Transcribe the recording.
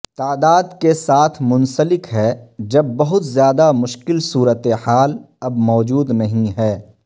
تعداد کے ساتھ منسلک ہے جب بہت زیادہ مشکل صورتحال اب موجود نہیں ہے